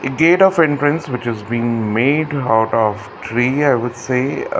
gate of entrance which is being made lot of tree i would say uh--